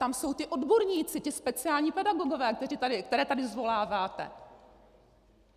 Tam jsou ti odborníci, ti speciální pedagogové, které tady zvoláváte!